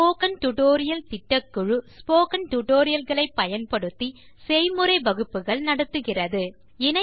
spoken tutorial திட்டக்குழு spoken tutorial களை பயன்படுத்தி செய்முறை வகுப்புகள் நடத்துகிறது